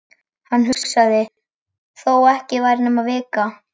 Hann hugsaði: Þó ekki væri nema vika.